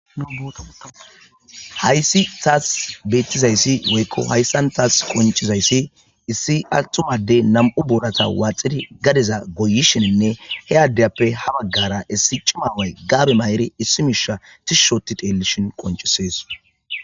Haayssi taas beettizayssi woykko hayssan taas qoncizayssi issi attumade nam'u boorata waaxidi gadiza goyishininne he addeyappe ha baggara issi cima away gaabe ma'iri issi miishsha tishi ooti teellishin qoncisees